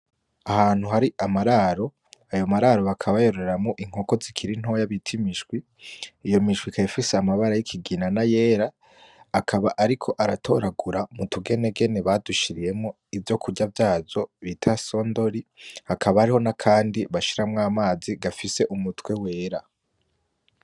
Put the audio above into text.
Ahantu hari amararo ayo mararo bakaba bayoreramwo inkoko zikiri ntoya bita imiswi iyo miswi ikaba ifise amabara yikigina nayera akaba ariko aratoragura mutugenegene badushiriyemwo ivyokurya vyazo bita sondori hakaba hari nakandi bashiramwo amazi gafise umutwe wera.